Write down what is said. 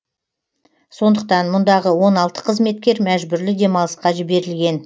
сондықтан мұндағы он алты қызметкер мәжбүрлі демалысқа жіберілген